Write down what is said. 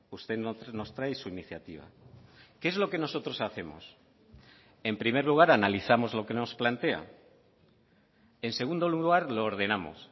usted nos trae su iniciativa qué es lo que nosotros hacemos en primer lugar analizamos lo que nos plantea en segundo lugar lo ordenamos